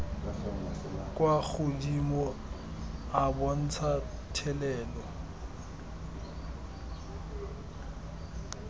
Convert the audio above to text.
kwa godimo a bontsha thelelo